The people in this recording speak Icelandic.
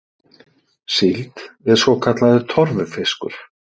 Síld er svokallaður torfufiskur.